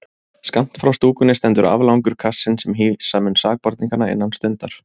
Skammt frá stúkunni stendur aflangur kassinn sem hýsa mun sakborningana innan stundar.